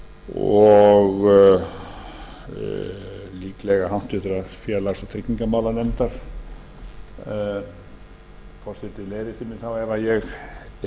og líklega háttvirtur félags og tryggingamálanefndar forseti leiðréttir mig þá ef ég er ekki að hitta á rétta nefnd en ég held að það